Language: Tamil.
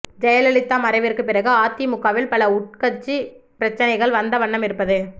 ஜெயலலிதா மறைவிற்கு பிறகு அதிமுகவில் பல உட்கட்சி பிரச்சனைகள் வந்த வண்ணம் இருப்பது